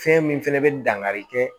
Fɛn min fɛnɛ bɛ dankari kɛ